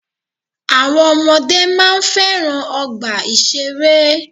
Àwọn ọmọdé máa ń fẹ́ràn ọgbà ìṣẹ̀rẹ́.